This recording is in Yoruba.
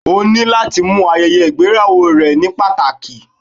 O ni lati mu ayeye igbeyawo rẹ ni pataki